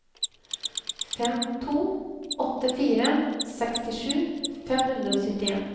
fem to åtte fire sekstisju fem hundre og syttien